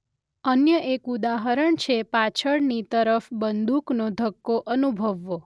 અન્ય એક ઉદાહરણ છે પાછળની તરફ બંદૂકનો ધક્કો અનુભવવો.